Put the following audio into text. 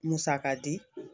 Musaka di